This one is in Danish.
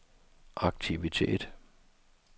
aktivitet